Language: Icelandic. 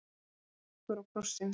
Hann leit argur á krossinn.